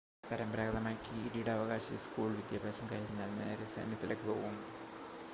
പരമ്പരാഗതമായി കിരീടാവകാശി സ്കൂൾ വിദ്യാഭ്യാസം കഴിഞ്ഞാൽ നേരെ സൈന്യത്തിലേക്ക് പോകും